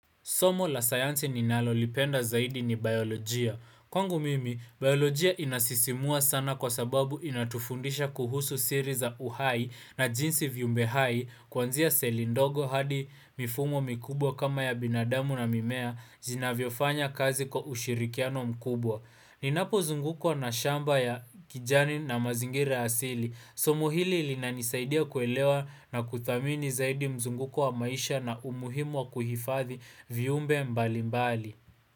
Somo la sayansi ni nalolipenda zaidi ni bailojia. Kwangu mimi, biolojia inasisimua sana kwa sababu inatufundisha kuhusu siri za uhai na jinsi vyimbe hai kuanzia seli ndogo hadi mifumo mikubwa kama ya binadamu na mimea jinavyofanya kazi kwa ushirikiano mkubwa. Ninapo zungukwa na shamba ya kijani na mazingira asili. Somo hili ilinanisaidia kuelewa na kuthamini zaidi mzunguko wa maisha na umuhimu wa kuhifadhi viumbe mbali mbali.